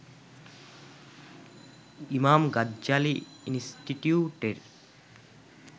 Imam Ghazali ইন্সটিটিউটের